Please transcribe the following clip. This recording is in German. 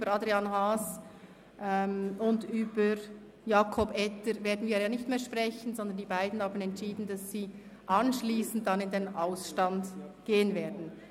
Über Adrian Haas und über Jakob Etter werden wir nicht mehr sprechen, sondern die beiden haben entschieden, dass sie anschliessend in den Ausstand gehen werden.